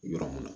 Yɔrɔ mun na